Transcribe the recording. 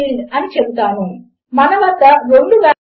spoken tutorial project కొరకు dubbing చెప్పింది నిఖిల